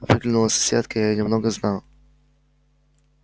выглянула соседка я её немного знал